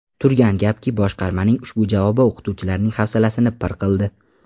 Turgan gapki, boshqarmaning ushbu javobi o‘qituvchilarning hafsalasini pir qildi.